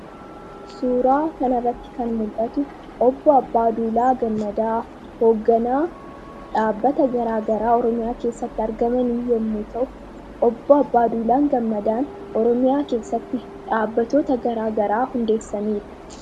Suuraa kana irratti kan mul'atu Obboo Abbaaduulaa Gammadaa hoogganaa dhaabbata garaa garaa Oromiyaa keessatti argamanii yemmuu ta'u, Obboo Abbaaduulaa Gammadaan Oromiyaa keessatti dhaabbatoota garaa garaa hundeessaniiru.